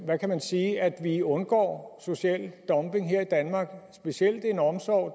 hvad kan man sige at vi undgår social dumping her i danmark og specielt den omsorg